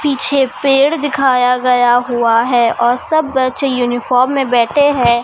पीछे पेड़ दिखाया गया हुआ है और सब बच्चे यूनिफॉर्म में बैठे है।